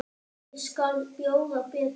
Ég skal bjóða betur.